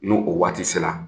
N'o o waati sera